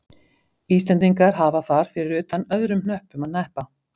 Íslendingar hafa þar fyrir utan öðrum hnöppum að hneppa.